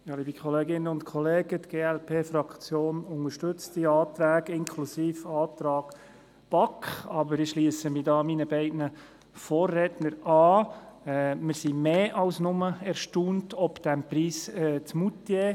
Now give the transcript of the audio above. Die glp-Fraktion unterstützt die Anträge, inklusive dem Antrag der BaK. Aber ich schliesse mich meinen beiden Vorrednern an: Wir sind mehr als nur erstaunt über den Preis in Moutier.